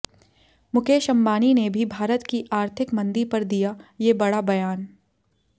मुकेश अंबानी ने भी भारत की आर्थिक मंदी पर दिया ये बड़ा बयान